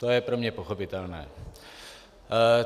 To je pro mě pochopitelné.